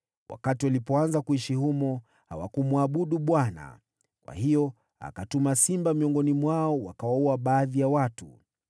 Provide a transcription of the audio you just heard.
Wakati walianza kuishi humo, hawakumwabudu Bwana , kwa hiyo akatuma simba miongoni mwao, wakawaua baadhi ya watu.